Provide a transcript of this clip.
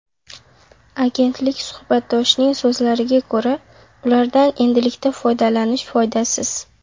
Agentlik suhbatdoshining so‘zlariga ko‘ra, ulardan endilikda foydalanish foydasiz.